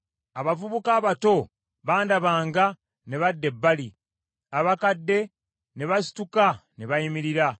abavubuka abato bandabanga ne badda ebbali, abakadde ne basituka ne bayimirira;